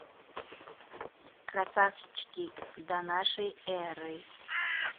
красавчики до нашей эры